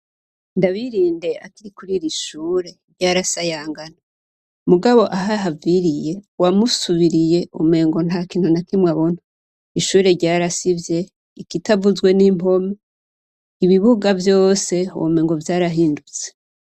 Ndabirinde akiri kur'iri shure ryarasayangana mugabo ahahaviriye uwamusubiriye umengo nta kintu na kimwe abona, ishure ryarasivye ikitavuzwe n'impome, ibibuga vyose womengo vyarahindutse.